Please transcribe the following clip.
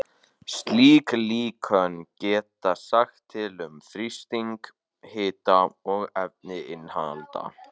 Slík líkön geta sagt til um þrýsting, hita og efnainnihald.